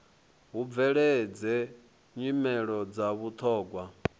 hu bveledze nyimelo dza vhuthogwa